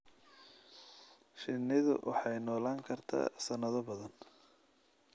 Shinnidu waxay noolaan kartaa sanado badan.